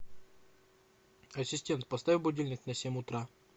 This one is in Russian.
ассистент поставь будильник на семь утра